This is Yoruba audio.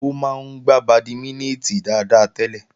Ó máa ń gbà bàdímínítìn dáadáa tẹ́lẹ̀